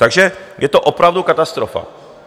Takže je to opravdu katastrofa.